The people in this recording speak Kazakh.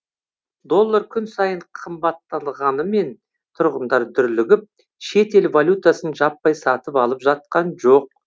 доллар күн сайын қымбаттағанымен тұрғындар дүрлігіп шетел валютасын жаппай сатып алып жатқан жоқ